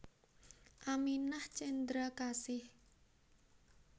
Aminah Cendrakasih